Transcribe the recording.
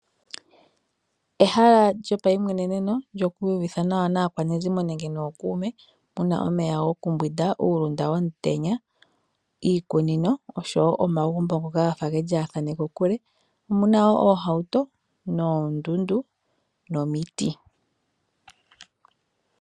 Opuna omahala gomayimweneneno gokwiiyuvitha nawa naakwanezimo nenge nookume, ohapu kala omeya gokumbwinda, uulunda womutenya, iikunino oshowo omagumbo ngoka gafa ge lyaathane kokule. Omuna wo oohauto, oondundu nomiti.